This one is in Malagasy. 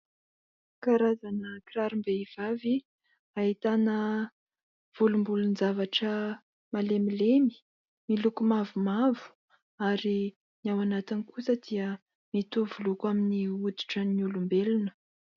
Karazana kirarom-behivavy ahitana volombolon-javatra malemilemy. Miloko mavomavo ary ny ao anatiny kosa dia mitovy loko amin'ny hoditra ny olombelona.